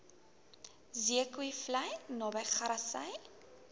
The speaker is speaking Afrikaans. zeekoevlei naby grassy